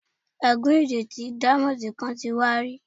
Ègú́n ìrètí díámọ́ńdì kan ti wà rí.